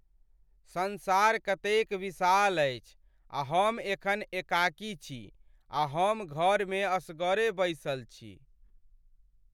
संसार कतेक विशाल अछि आ हम एखन एकाकी छी आ हम घरमे असगरे बैसल छी।